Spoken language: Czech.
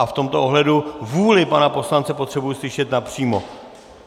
A v tomto ohledu vůli pana poslance potřebuji slyšet napřímo.